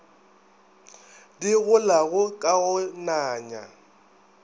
di golago ka go nanya